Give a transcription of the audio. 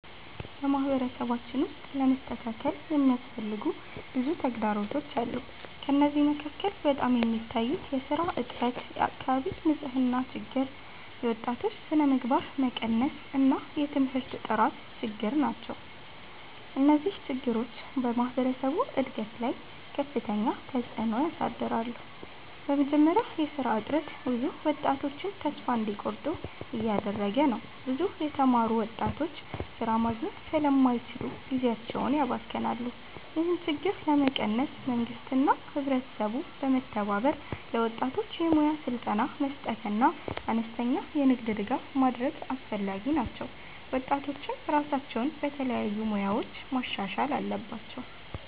በማህበረሰባችን ውስጥ ለመስተካከል የሚያስፈልጉ ብዙ ተግዳሮቶች አሉ። ከእነዚህ መካከል በጣም የሚታዩት የሥራ እጥረት፣ የአካባቢ ንፅህና ችግር፣ የወጣቶች ስነምግባር መቀነስ እና የትምህርት ጥራት ችግር ናቸው። እነዚህ ችግሮች በማህበረሰቡ እድገት ላይ ከፍተኛ ተፅዕኖ ያሳድራሉ። በመጀመሪያ የሥራ እጥረት ብዙ ወጣቶችን ተስፋ እንዲቆርጡ እያደረገ ነው። ብዙ የተማሩ ወጣቶች ሥራ ማግኘት ስለማይችሉ ጊዜያቸውን ያባክናሉ። ይህን ችግር ለመቀነስ መንግስትና ህብረተሰቡ በመተባበር ለወጣቶች የሙያ ስልጠና መስጠትና አነስተኛ የንግድ ድጋፍ ማድረግ አስፈላጊ ነው። ወጣቶችም ራሳቸውን በተለያዩ ሙያዎች ማሻሻል አለባቸው።